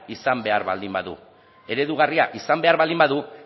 izan behar baldin badu eredugarria izan behar baldin badu